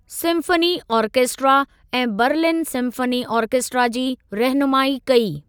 Symphony orchestra ऐं Berlin symphony orchestra जी रहनुमाई कई।